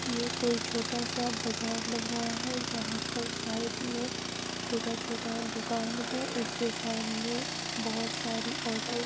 ये कोई छोटा-सा बजार लग रहा है जहाँ पर साइड में छोटा-छोटा दुकान है उसके सामने बहुत सारी ऑटो --